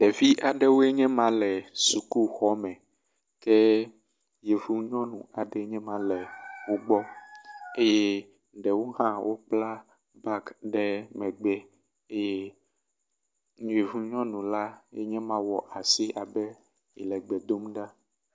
Ɖevi aɖewoe nye ma le sukuxɔ me ke yevu nyɔnu aɖe enye ma le wo gbɔ eye ɖewo hã wokpla bagi ɖe megbe eye yevu nyɔnu la yenye ma wɔ asi abe yele gbe dom ɖa.